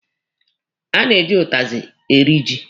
A na-eji ụtazị eri ji.